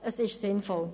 Es ist sinnvoll.